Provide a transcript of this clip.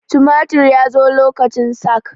tumatir ya zo lokacin sak